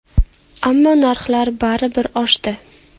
Ammo narxlar baribir oshdi.